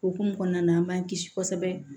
Okumu kɔnɔna na an b'an kisi kosɛbɛ